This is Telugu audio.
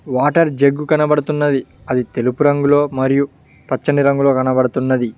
వాటర్ జగ్గు కనబడుతున్నది అది తెలుపు రంగులో మరియు పచ్చని రంగులో కనబడుతున్నది.